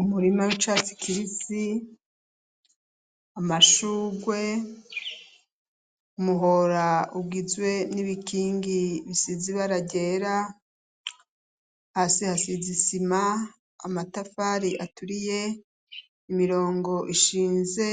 Umurima w'icatsi kibisi, amashugwe, umuhora ugizwe n'ibikingi bisize ibara ryera, hasi hasize isima, amatafari aturiye, imirongo ishinze